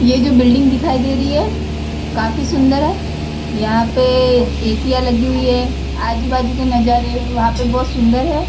यह जो बिलडिंग दिखाई दे रही है काफ़ी सुन्दर है यहाँ पे ऐसीयाँ लगी हुई है आजू बाजु के नजारे वहाँ पे बहुत सुन्दर है।